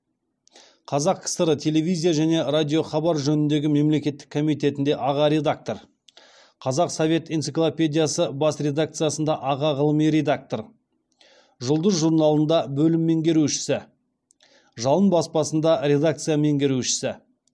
қазақ кср телевизия және радиохабар жөніндегі мемлекеттік комитетінде аға редактор қазақ совет энциклопедиясы бас редакциясында аға ғылыми редактор жұлдыз журналында бөлім меңгерушісі жалын баспасында редакция меңгерушісі